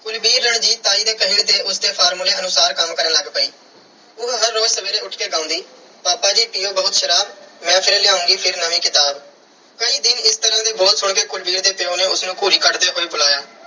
ਕੁਲਵੀਰ ਰਣਜੀਤ ਤਾਈ ਦੇ ਕਹੇ ਤੇ ਉਸ ਦੇ formula ਅਨੁਸਾਰ ਕੰਮ ਕਰਨ ਲੱਗ ਪਈ। ਉਹ ਹਰ ਰੋਜ਼ ਸਵੇਰੇ ਉੱਠ ਕੇ ਗਾਉਂਦੀ- ਪਾਪਾ ਜੀ ਪੀਓ ਬਹੁਤ ਸ਼ਰਾਬ, ਮੈਂ ਫਿਰ ਲਿਆਉਂਗੀ ਫਿਰ ਨਵੀਂ ਕਿਤਾਬ। ਕਈ ਦਿਨ ਇਸ ਤਰ੍ਹਾਂ ਦੇ ਬੋਲ ਸੁਣ ਕੇ ਕੁਲਵੀਰ ਦੇ ਪਿਉ ਨੇ ਉਸ ਨੂੰ ਘੂਰੀ ਕੱਢਦੇ ਹੋਏ ਬੁਲਾਇਆ